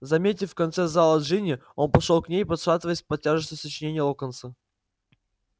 заметив в конце зала джинни он пошёл к ней пошатываясь под тяжестью сочинений локонса